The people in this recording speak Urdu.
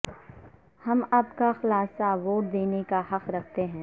ہم اب کا خلاصہ ووٹ دینے کا حق رکھتے ہیں